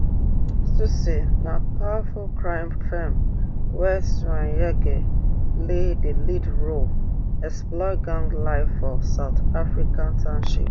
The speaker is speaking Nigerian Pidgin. tsotsi na powerful crime feem wia chweneyagae play di lead role explore gang life for south african township